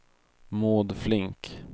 Maud Flink